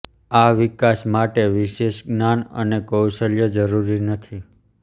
આ વિકાસ માટે વિશેષ જ્ઞાન અને કૌશલ્ય જરૂરી નથી